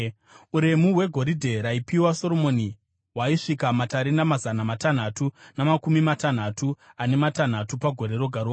Uremu hwegoridhe raipiwa Soromoni hwaisvika matarenda mazana matanhatu namakumi matanhatu ane matanhatu pagore roga roga,